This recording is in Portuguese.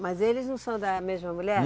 Mas eles não são da mesma mulher?